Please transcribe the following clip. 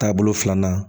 Taabolo filanan